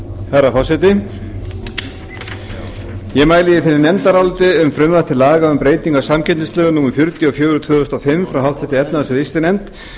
herra forseti ég mæli fyrir nefndaráliti um frumvarp til laga um breytingu á samkeppnislögum númer fjörutíu og fjögur tvö þúsund og fimm frá háttvirtri efnahags og viðskiptanefnd